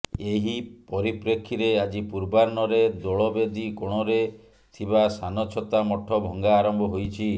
ଏହି ପରିପ୍ରେକ୍ଷୀରେ ଆଜି ପୂର୍ବାହ୍ନରେ ଦୋଳବେଦୀ କୋଣରେ ଥିବା ସାନଛତା ମଠ ଭଙ୍ଗା ଆରମ୍ଭ ହୋଇଛି